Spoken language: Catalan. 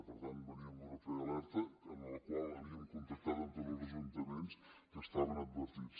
per tant veníem d’una prealerta en la qual havíem contactat amb tots els ajuntaments que estaven advertits